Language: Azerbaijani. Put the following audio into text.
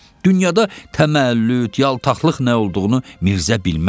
Dünyada təməllüd, yaltaqlıq nə olduğunu Mirzə bilməz.